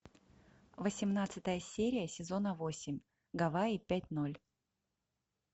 восемнадцатая серия сезона восемь гавайи пять ноль